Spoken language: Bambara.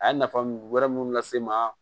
A ye nafa mun wɛrɛ mun lase n ma